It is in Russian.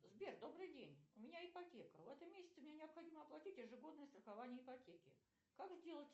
сбер добрый день у меня ипотека в этом месяце мне необходимо оплатить ежегодное страхование ипотеки как сделать